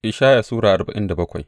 Ishaya Sura arba'in da bakwai